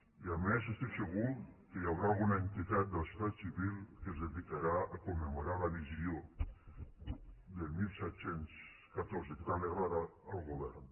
i a més estic segur que hi haurà alguna entitat de la societat civil que es dedicarà a commemorar la visió del disset deu quatre que tant li agrada al govern